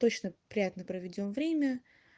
точно приятно проведём время